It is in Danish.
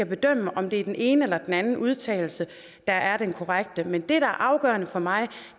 bedømme om det er den ene eller den anden udtalelse der er den korrekte men det der er afgørende for mig